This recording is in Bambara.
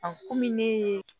kɔmi ne ye